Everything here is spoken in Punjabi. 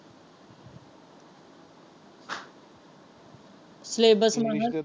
ਸਲੇਬਸ ਮੈਂ ਕਹਿਆ।